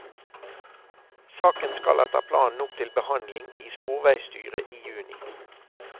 Saken skal etter planen opp til behandling i sporveisstyret i juni.